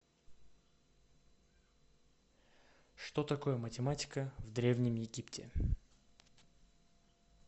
что такое математика в древнем египте